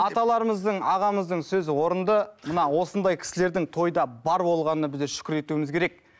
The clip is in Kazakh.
аталарымыздың ағамыздың сөзі орынды мына осындай кісілердің тойда бар болғанына біздер шүкір етуіміз керек